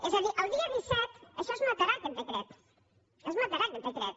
és a dir el dia disset això es matarà aquest decret es matarà aquest decret